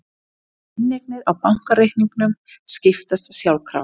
Inneignir á bankareikningum skiptast sjálfkrafa